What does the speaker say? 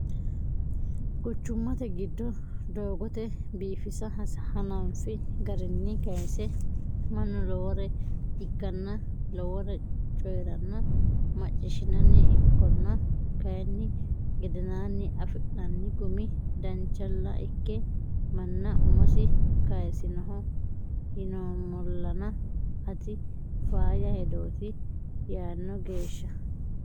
Quchumate giddo doogote biifisa hananfi barrini kayse mannu lowore ikkanna lowore coyranna macciishinanni ikkonna kayinni gedenani afi'nanni gumi danchalla ikke manna umosi kayisinoho yinoommollanna tini faayya hedoti yaano geeshsha.